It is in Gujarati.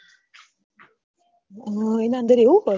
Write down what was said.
હમ એના અન્દર હોય